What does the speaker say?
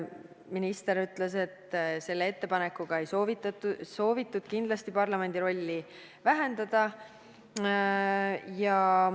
Minister ütles, et selle ettepanekuga ei soovitud kindlasti parlamendi rolli vähendada.